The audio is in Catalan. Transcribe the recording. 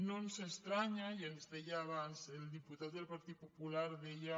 no ens estranya i ens deia abans el diputat del partit popular deia